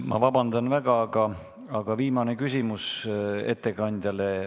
Ma vabandan väga, aga viimane küsimus ettekandjale.